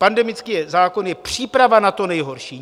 Pandemický zákon je příprava na to nejhorší.